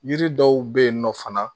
Yiri dɔw be yen nɔ fana